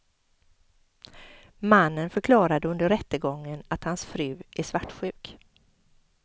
Mannen förklarade under rättegången att hans fru är svartsjuk.